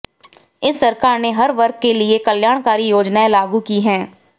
इस सरकार ने हर वर्ग के लिए कल्याकारी योजनाएं लागू की है